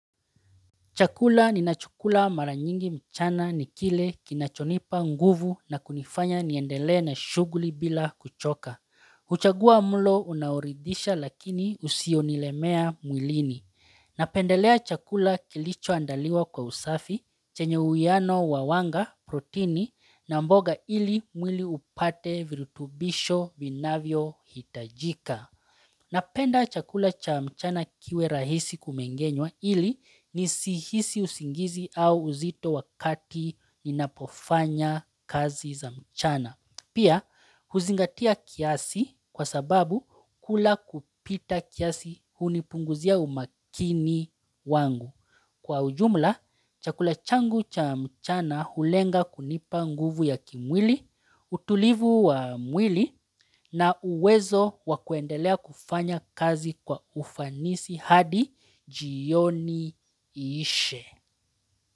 Chakula ninachokula mara nyingi mchana ni kile kinachonipa nguvu na kunifanya niendelee na shughuli bila kuchoka. Huchagua mlo unaoridhisha lakini usionilemea mwilini. Napendelea chakula kilichoandaliwa kwa usafi, chenye uiano wa wanga, protini na mboga ili mwili upate virutubisho vinavyohitajika. Napenda chakula cha mchana kiwe rahisi kumengenywa ili nisihisi usingizi au uzito wakati ninapofanya kazi za mchana. Pia huzingatia kiasi kwa sababu kula kupita kiasi hunipunguzia umakini wangu. Kwa ujumla, chakula changu cha mchana hulenga kunipa nguvu ya kimwili, utulivu wa mwili na uwezo wa kuendelea kufanya kazi kwa ufanisi hadi jioni iishe.